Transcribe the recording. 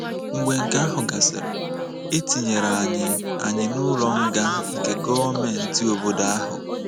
Mgbe nke ahụ gasịrị, e tinyere anyị anyị n’ụlọ nga nke gọọmenti obodo ahụ.